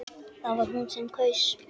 Það var hún sem kaus!